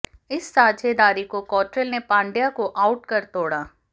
इस साझेदारी को कॉट्रेल ने पंड्या को आउट कर तोड़ा